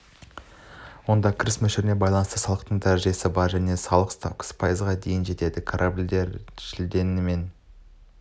онда кіріс мөлшеріне байланысты салықтың дәрежесі бар және салық ставкасы пайызға дейін жетеді корабльдері шілденің мен